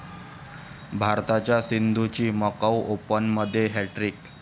भारताच्या सिंधूची मकाऊ ओपनमध्ये हॅटट्रिक